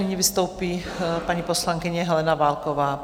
Nyní vystoupí paní poslankyně Helena Válková.